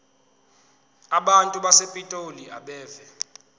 abantu basepitoli abeve